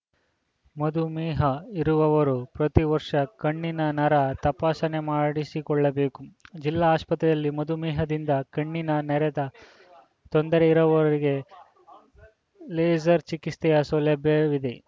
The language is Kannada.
ಮಧುಮೇಹ ಇರುವವರು ಪ್ರತಿ ವರ್ಷ ಕಣ್ಣಿನ ನರ ತಪಾಸಣೆ ಮಾಡಿಸಿಕೊಳ್ಳಬೇಕು ಜಿಲ್ಲಾ ಆಸ್ಪತ್ರೆಯಲ್ಲಿ ಮಧುಮೇಹದಿಂದ ಕಣ್ಣಿನ ನೆರದ ತೊಂದರೆ ಇರುವವರಿಗೆ ಲೇಸರ್‌ ಚಿಕಿತ್ಸೆಯ ಸೌಲಭ್ಯವಿದೆ